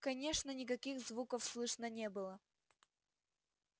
конечно никаких звуков слышно не было